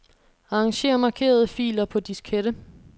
Arranger markerede filer på diskette.